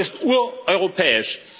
Das ist ureuropäisch.